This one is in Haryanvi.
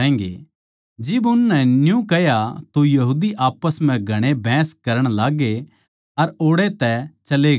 जिब उसनै न्यू कह्या तो यहूदी आप्पस म्ह घणे बहस करण लाग्गे अर ओड़ै तै चले गये